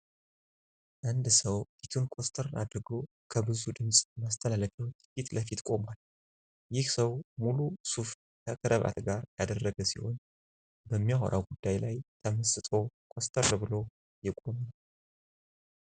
አንድ ሰው ፊቱን ኮስተር አድርጎ ከብዙ ድምጽ ማስተላለፊያዎች ፊትለፊት ቆሟል። ይህ ሰው ሙሉ ሱፍ ከከረባት ጋር ያደረገ ሲሆን በሚያወራው ጉዳይ ላይ ተመስጦ ኮስተር ብሎ የቆመ ነው።